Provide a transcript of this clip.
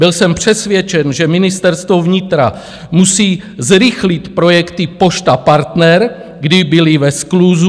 Byl jsem přesvědčen, že Ministerstvo vnitra musí zrychlit projekty Pošta Partner, kdy byly ve skluzu.